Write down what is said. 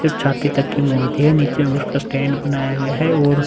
सिर्फ छाती तक ही मूर्ति है नीचे में उसका स्टैंड बनाया गया है और --